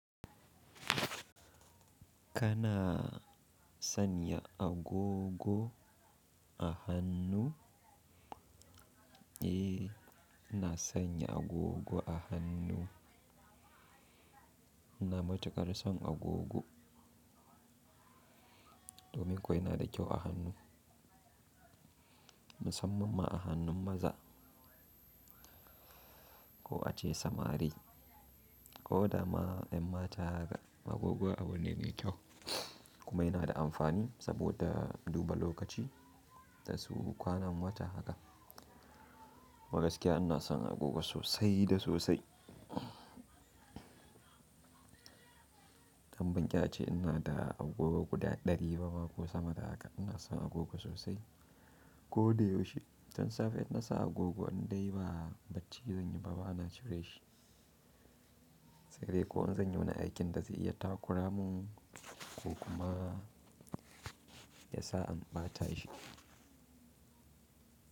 Kana sanya agogo a hannu? Eh, ina sanya agogo a hannu. Ina matukar son agogo domin kuwa yana da kyau a hannu, musamman ma a hannun maza ko ace samari. Ko da ma yan mata haka agogo abu ne mai kyau kuma yana da amfani saboda duba lokaci da kuma kwanan wata haka. Kuma gaskiya ina son agogo sosai da sosai. Dan ban ƙi a ce ina da agogo guda ɗari ba ma ko sama da haka. Ina son agogo sosai ko da yaushe. Tun safe idan na saka agogo idan dai ba bacci zan yi ba, ba na cire shi. Sai dai ko in zan yi wani aikin da zai iya takura min ko kuma ya sa an ɓata shi.